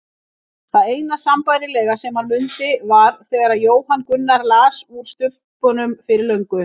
Það eina sambærilega sem hann mundi var þegar Jóhann Gunnar las úr Stubbnum fyrir löngu.